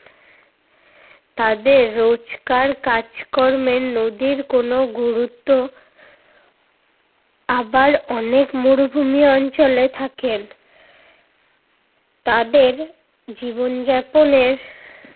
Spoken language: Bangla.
তাদের রোজকার কাজ-কর্মে নদীর কোনো গুরুত্ব আবার অনেক মরুভূমি অঞ্চলে থাকেন। তাদের জীবনযাপনের